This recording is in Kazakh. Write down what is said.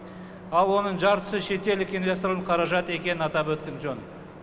ал оның жартысы шетелдік инвесторлардың қаражат екенін атап өткен жөн